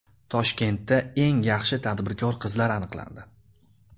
Toshkentda eng yaxshi tadbirkor qizlar aniqlandi.